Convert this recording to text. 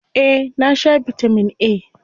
Eh, na sha bitamin A.